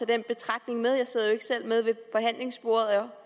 den betragtning med jeg sidder ikke selv med ved forhandlingsbordet